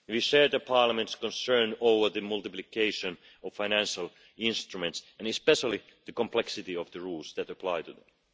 We share Parliament's concern about the multiplication of financial instruments and especially the complexity of the rules that apply them.